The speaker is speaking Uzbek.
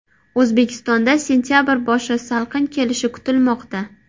O‘zbekistonda sentabr boshi salqin kelishi kutilmoqda.